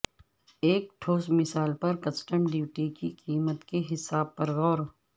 ایک ٹھوس مثال پر کسٹم ڈیوٹی کی قیمت کے حساب پر غور